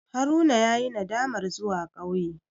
Haruna yayi nadamar zuwa ƙauye.